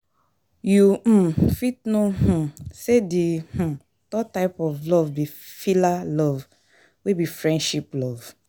You um fit know[um] say di um third type of love be philia love, wey be friendship love.